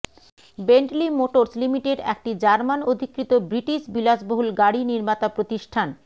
Bentley Motors Limited একটি German অধিকৃত British বিলাসবহুল গাড়ি নির্মাতা প্রতিষ্ঠান